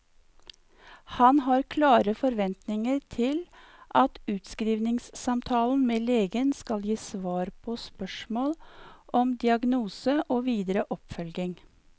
Han har klare forventninger til at utskrivningssamtalen med legen skal gi svar på spørsmål om diagnose og videre oppfølging.